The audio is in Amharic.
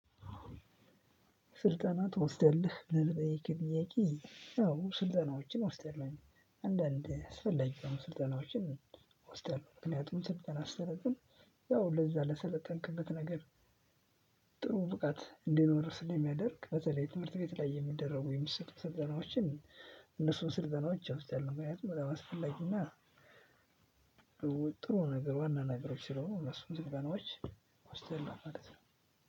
ስልጠና ትወስዳለህ ብለህ ለጠየከኝ ጥያቄ አዎ ስልጠናዎችን እወስዳለሁኝ። አንዳንድ አስፈላጊ የሆኑ ስልጠናዎችን እወስዳለሁ ምክንያቱም ስልጠና ስሰለጥን ያው ለዛ ለሰለጠንክበት ነገር። ጥሩ ብቃት እንዲኖርህ ስለሚያደርግ በተለይ ትምህርት ቤት ላይ የሚደረጉ የሚሰጡ ስልጠናዎችን። እነሱን ስልጠናዎች እወስዳለሁ ምክንያቱም በጣም አስፈላጊ እና። ጥሩ ነገር ዋና ነገሮች ስለሆኑ እነሱን ስልጠናዎች እወስዳለሁ ማለት ነው።